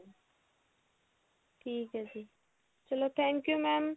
ਠੀਕ ਹੈ ਜੀ ਚਲੋ thank you mam